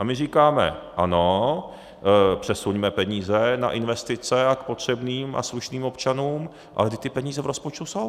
A my říkáme ano, přesuňme peníze na investice a k potřebným a slušným občanům, ale vždyť ty peníze v rozpočtu jsou!